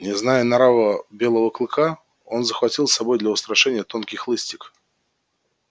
не зная нрава белого клыка он захватил с собой для устрашения тонкий хлыстик